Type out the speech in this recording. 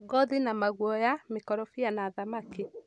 ngothi na maguoya, mĩkorobia na thamaki.